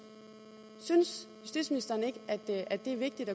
synes justitsministeren ikke at det er vigtigt